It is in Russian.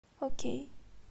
окей